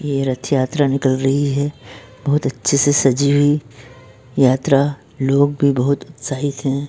यह रथ यात्रा निकल रही है बहोत अच्छे से सजी हुई लोग बहोत उत्साहित हैं।